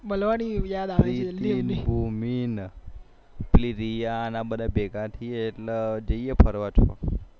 મળવા ની યાદ આવે રિદ્ધી ને ભૂમિ પેલી રિયા ને બધા ભેગા થઈએ એટલે જઈએ ક્યાંક